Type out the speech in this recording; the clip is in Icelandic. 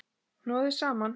Hnoðið saman.